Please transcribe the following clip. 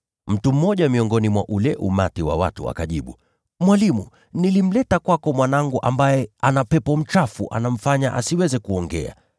Mtu mmoja miongoni mwa ule umati wa watu akajibu, “Mwalimu, nilimleta kwako mwanangu ambaye ana pepo mchafu anayemfanya asiweze kuongea.